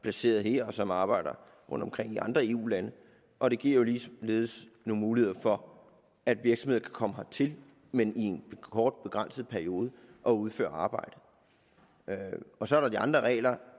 placeret her og som arbejder rundtomkring i andre eu lande og det giver jo ligeledes nogle muligheder for at virksomheder kan komme hertil men i en kort begrænset periode og udføre arbejde og så er der de andre regler